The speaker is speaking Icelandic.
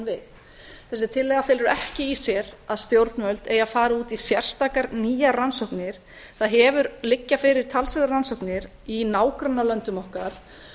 við þessi tillaga felur ekki í sér að stjórnvöld eigi að fara út í sérstakar nýjar rannsóknir það liggja fyrir talsverðar rannsóknir í nágrannalöndum okkar